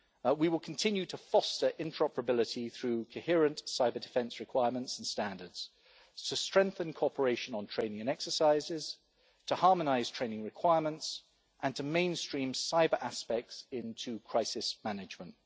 We will continue to foster interoperability through coherent cyber-defence requirements and standards, to strengthen cooperation on training exercises, to harmonise training requirements and to mainstream cyber aspects into crisis management.